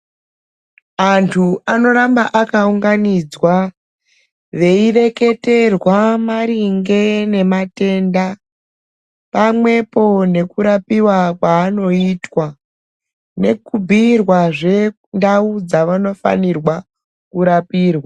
Antu anoramba akaunganidzwa veireketerwa maringe nematenda pamwepo nekurapiwa kwaanoitwa nekubhuyirwazve ndau dzavanofanirwa kurapirwa.